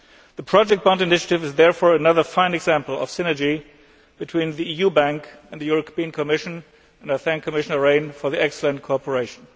The project bond initiative is therefore another fine example of synergy between the EIB and the Commission and I thank Commissioner Rehn for his excellent cooperation.